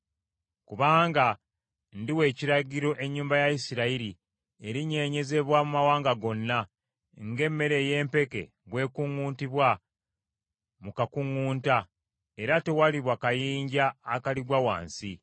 “Kubanga ndiwa ekiragiro, ennyumba ya Isirayiri erinyeenyezebwa mu mawanga gonna, ng’emmere ey’empeke bwe kuŋŋutibwa mu kakuŋŋunta era tewaliba kayinja akaligwa wansi.